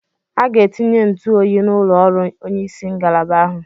A ga-etinye ntụ oyi n'ụlọ ọrụ onyeisi ngalaba ahụ.